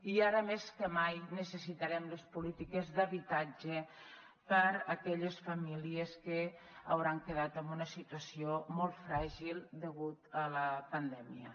i ara més que mai necessitarem les polítiques d’habitatge per a aquelles famílies que hauran quedat en una situació molt fràgil degut a la pandèmia